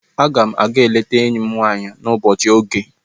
Aga m aga-eleta enyi m nwanyị n'ụbọchị oghe.